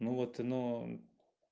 ну вот но